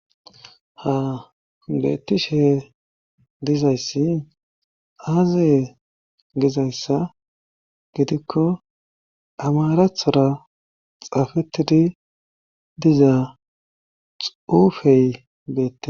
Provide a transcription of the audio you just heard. ha beettishe dizayssi aaziye gizayssa gidikko amarathora xaafettidi dizaa xuufey beette